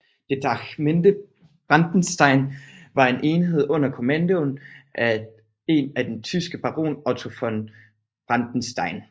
Detachmente Brandenstein var en enhed under kommando af en den tyske Baron Otto von Brandenstein